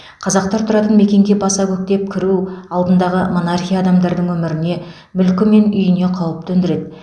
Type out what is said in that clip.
қазақтар тұратын мекенге баса көктеп кіру алдындағы монархия адамдардың өміріне мүлкі мен үйіне қауіп төндіреді